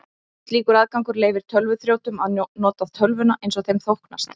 Slíkur aðgangur leyfir tölvuþrjótum að nota tölvuna eins þeim þóknast.